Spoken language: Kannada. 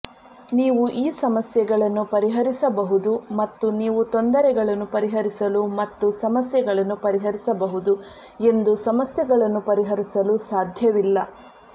ನೀವು ಈ ಸಮಸ್ಯೆಗಳನ್ನು ಪರಿಹರಿಸಬಹುದು ಮತ್ತು ನೀವು ತೊಂದರೆಗಳನ್ನು ಪರಿಹರಿಸಲು ಮತ್ತು ಸಮಸ್ಯೆಗಳನ್ನು ಪರಿಹರಿಸಬಹುದು ಎಂದು ಸಮಸ್ಯೆಗಳನ್ನು ಪರಿಹರಿಸಲು ಸಾಧ್ಯವಿಲ್ಲ